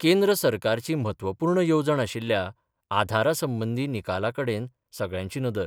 केंद्र सरकारची म्हत्वपुर्ण येवजण आशिल्ल्या आधारा संबंधि निकालाकडेन सगळ्यांची नदर